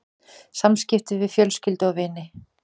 SAMSKIPTI VIÐ FJÖLSKYLDU OG VINI